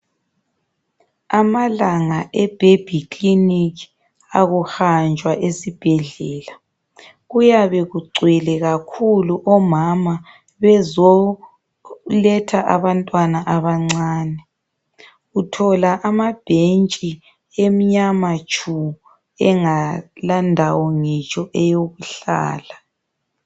Amalanga ebaby clinic, akuhanjwa esibhedlela, kuyabe kugcwele kakhulu omama bezoletha abantwana abancane. Uthola amabhentshi emnyama tshu engalandawo ngitsho eyokuhlala.